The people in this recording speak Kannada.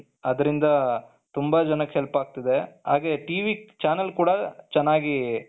ಅದರಿಂದ ತುಂಬಾ ಜನಕ್ಕೆ help ಆಗ್ತಿದೆ ಹಾಗೆ TV ಚಾನೆಲ್ ಕೂಡ ಚೆನ್ನಾಗಿ ,